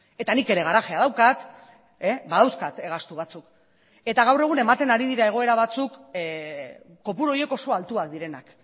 eta nik ere garajea daukat badauzkat gastu batzuk eta gaur egun ematen ari dira egoera batzuk kopuru horiek oso altuak direnak